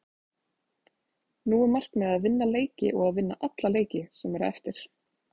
Nú er markmiðið að vinna leiki og að vinna alla leiki sem eru eftir.